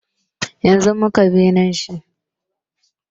Yanzun muka binne shi